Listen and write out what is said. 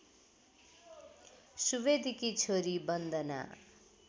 सुवेदीकी छोरी बन्दना